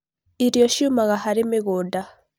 Irio ciumaga harĩ mĩgũnda